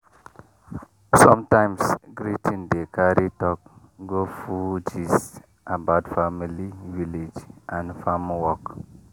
sometimes greeting dey carry talk go full gist about family village and farm work.